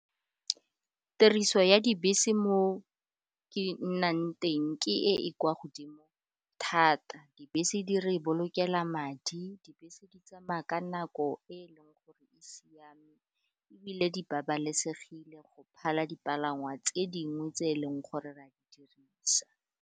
Tiriso ya dibese mo ke nnang teng ke e e kwa godimo thata, dibese di re bolokela madi, dibese di tsamaya ka nako e e leng gore e siame ebile di babalesegile go phala dipalangwa tse dingwe tse e leng gore ra di dirisa.